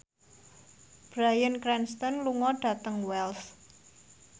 Bryan Cranston lunga dhateng Wells